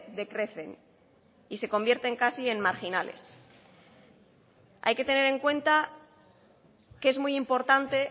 decrecen y se convierten casi en marginales hay que tener en cuenta que es muy importante